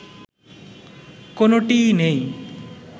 কোনটিই নেই